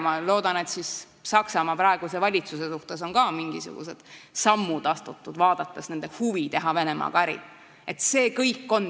Ma loodan, et Saksamaa praeguse valitsuse puhul on siis ka mingisuguseid samme astutud, vaadates nende huvi Venemaaga äri teha.